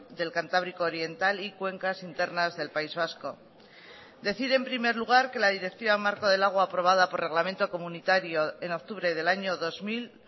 del cantábrico oriental y cuencas internas del país vasco decir en primer lugar que la directiva marco del agua aprobada por reglamento comunitario en octubre del año dos mil